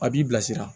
A b'i bilasira